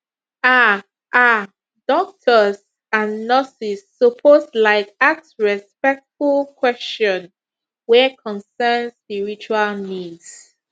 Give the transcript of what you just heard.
um um doctors and nurses suppose laik ask respectful kweshion wey concern spiritual needs